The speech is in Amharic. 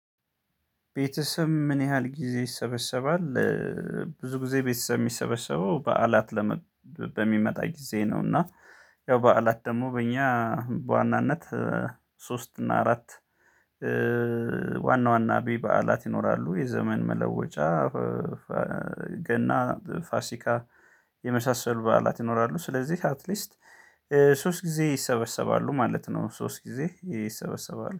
ቤተሰብ ምን ያህል ጊዜ ይሰበሰባል? ብዙ ጊዜ ቤተሰብ የሚሰበሰበው በዓላት ለመ በሚመጣ ጊዜ ነው። እና ያው በዓላት ደግሞ በእኛ በዋናነት ሶስት እና አራት ዋና ዋና አብይ በዓላት ይኖራሉ። የዘመን መለወጫ ገና ፋሲካ የመሳሰል በዓላት ይኖራሉ። ስለዚህ አትሊስት ሶስት ጊዜ ይሰበሰባሉ ማለት ነው። ሶስት ጊዜ ይሰበሰባሉ